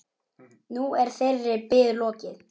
Nú er þeirri bið lokið.